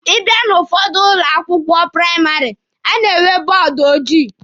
Ị bịa n'ụfọdụ ụlọ akwụkwọ praịmarị, a na-enwe bọọdụ ojii.